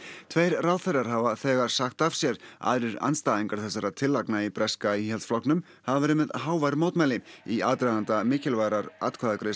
tveir ráðherrar hafa þegar sagt af sér aðrir andstæðingar þessara tillagna í breska Íhaldsflokknum hafa verið með hávær mótmæli í aðdraganda mikilvægrar atkvæðagreiðslu